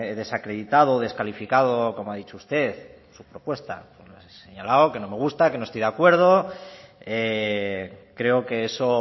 desacreditado o descalificado como ha dicho usted su propuesta he señalado que no me gusta que no estoy de acuerdo creo que eso